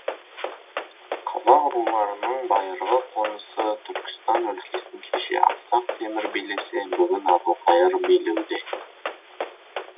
қазақ руларының байырғы қонысы түркістан өлкесін кеше ақсақ темір билесе бүгін әбілқайыр билеуде